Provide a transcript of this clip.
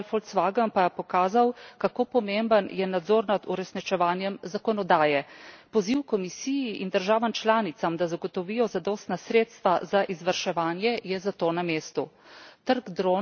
Nedavni avtomobilski škandal Volkswagen pa je pokazal, kako pomemben je nadzor nad uresničevanjem zakonodaje. Poziv Komisiji in državam članicam, da zagotovijo zadostna sredstva za izvrševanje, je zato na mestu.